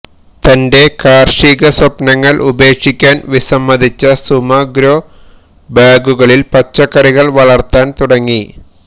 തന്റെ കാർഷിക സ്വപ്നങ്ങൾ ഉപേക്ഷിക്കാൻ വിസമ്മതിച്ച സുമ ഗ്രോ ബാഗുകളിൽ പച്ചക്കറികൾ വളർത്താൻ തുടങ്ങി